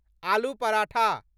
आलू पराठा